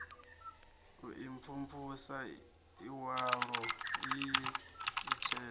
u imvumvusa iwalo ii itshena